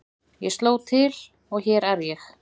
Ég sló til og hér er ég.